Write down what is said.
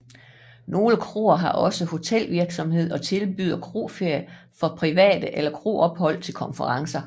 Nogle kroer har også hotelvirksomhed og tilbyder kroferier for private eller kroophold til konferencer